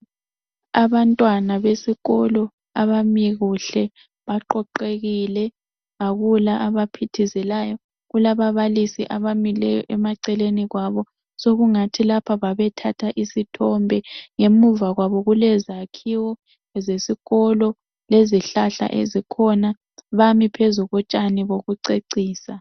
Abantwana besikolo bame kuhle baqoqekile akula abaphithizelayo, kulababalisi abamile eceleni kwabo sokungathi lapho babe thatha isithombe ngemuva kwabo kulezakhiwo zesikolo lezihlahla ezikhona bami phezu kotshani bokucecisa.